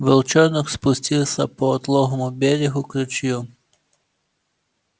волчонок спустился по отлогому берегу к ручью